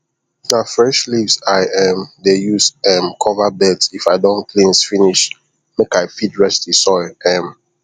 na fresh leaves i um dey use um cover beds if i don cleans finish make i fit rest the soil um